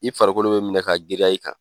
I farikolo bɛ minɛ ka giriya i kan.